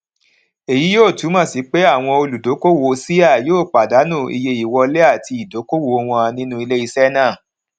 èyí yóò túmọ sí pé àwọn olùdókòwò ṣíà yóò pàdánù iye ìwọlé àti ìdókòwò wọn nínú ilé iṣẹ náà